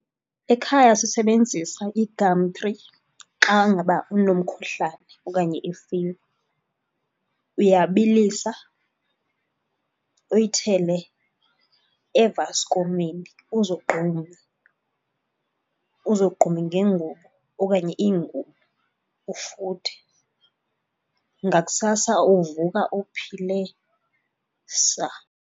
Ekhaya sisebenzisa i-gumtree xa ngaba unomkhuhlane okanye ifiva. Uyabilisa uyithele evaskomini uzogqume, uzogqume ngengubo okanye iingubo ufuthe. Ngakusasa uvuka uphile saa.